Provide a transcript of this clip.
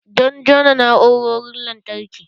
Don jona na'urorin lantarki.